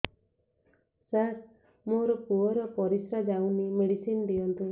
ସାର ମୋର ପୁଅର ପରିସ୍ରା ଯାଉନି ମେଡିସିନ ଦିଅନ୍ତୁ